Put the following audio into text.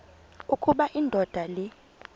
ukuba indoda le